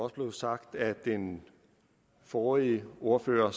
også blev sagt af den forrige ordfører